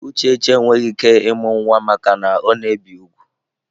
Uchechi enweghị ike ịmụ nwa maka na ọ na-ebi úgwù.